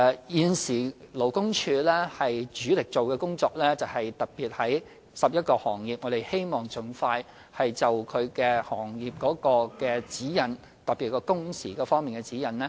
現時，勞工處的主力工作，是在11個行業盡快訂定行業指引，特別是工時方面的指引。